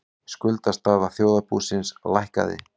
Skuldastaða þjóðarbúsins lækkaði